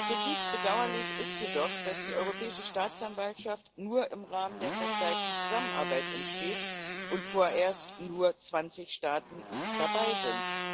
Zutiefst bedauerlich ist jedoch, dass die Europäische Staatsanwaltschaft nur im Rahmen der Verstärkten Zusammenarbeit entsteht und vorerst nur 20 Staaten dabei sind.